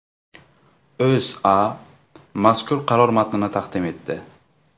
O‘zA mazkur qaror matnini taqdim etdi .